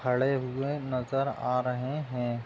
खड़े हुए नज़र आ रहे हें ।